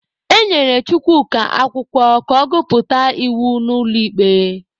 E nyere Chukwuka akwụkwọ ka ọ gụpụta iwu n'ụlọ ikpe.